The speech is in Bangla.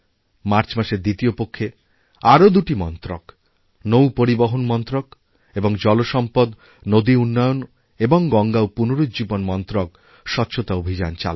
মার্চ মাসের দ্বিতীয় পক্ষে আরও দুটিমন্ত্রক নৌপরিবহন মন্ত্রক এবং জলসম্পদ নদী উন্নয়ন এবং গঙ্গা পুনরুজ্জীবনমন্ত্রক স্বচ্ছতা অভিযান চালাবে